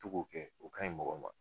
To ka o kɛ, o ka ɲi mɔgɔ ma.